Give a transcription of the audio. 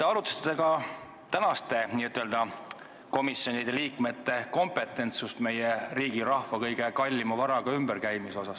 Kas te arutasite komisjoni liikme kandidaatide kompetentsust meie riigi ja rahva kõige kallima varaga ümberkäimisel?